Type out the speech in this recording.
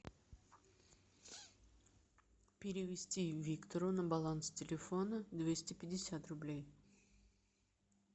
перевести виктору на баланс телефона двести пятьдесят рублей